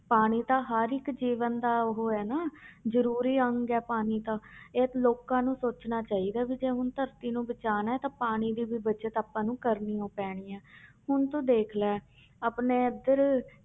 ਪਾਣੀ ਤਾਂ ਹਰ ਇੱਕ ਜੀਵਨ ਦਾ ਉਹ ਹੈ ਨਾ ਜ਼ਰੂਰੀ ਅੰਗ ਹੈ ਪਾਣੀ ਤਾਂ ਇਹ ਤਾਂ ਲੋਕਾਂ ਨੂੰ ਸੋਚਣਾ ਚਾਹੀਦਾ ਹੈ ਵੀ ਜੇ ਹੁਣ ਧਰਤੀ ਨੂੰ ਬਚਾਉਣਾ ਹੈ ਤਾਂ ਪਾਣੀ ਦੀ ਵੀ ਬਚਤ ਆਪਾਂ ਨੂੰ ਕਰਨੀ ਹੀ ਪੈਣੀ ਹੈ ਹੁਣ ਤੂੰ ਦੇਖ ਲੈ ਆਪਣੇ ਇੱਧਰ